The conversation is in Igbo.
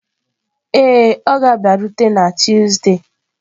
Ee, ọ ga-abịarute na Tuzdee.